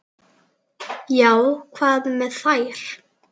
Já, hvað með þær?